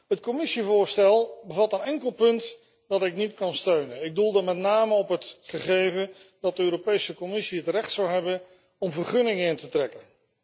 Het Commissievoorstel bevat een enkel punt dat ik niet kan steunen, met name het gegeven dat de Europese Commissie het recht zou hebben om vergunningen in te trekken.